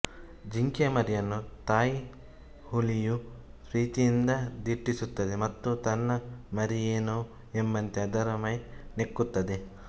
ಜಿಂಕೆ ಮರಿಯನ್ನು ತಾಯಿಹುಲಿಯು ಪ್ರೀತಿಯಿಂದ ದಿಟ್ಟಿಸುತ್ತದೆ ಮತ್ತು ತನ್ನ ಮರಿಯೇನೋ ಎಂಬಂತೆ ಅದರ ಮೈ ನೆಕ್ಕುತ್ತದೆ